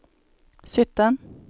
sytten